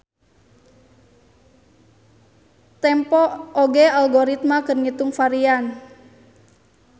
Tempo oge algoritma keur ngitung varian.